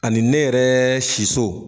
Ani ne yɛrɛɛɛ siso.